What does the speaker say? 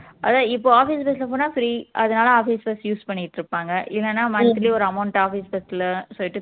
அதா இப்போ office bus ல போனா free அதனால office bus use பண்ணிட்டு இருப்பாங்க இல்லன்னா monthly ஒரு amount office bus ல சொல்லிட்டு